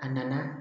A nana